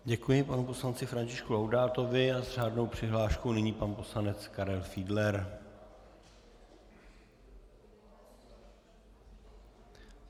Děkuji panu poslanci Františku Laudátovi a s řádnou přihláškou nyní pan poslanec Karel Fiedler.